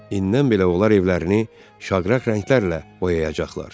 İnnən belə onlar evlərini şaqraq rənglərlə boyayacaqlar.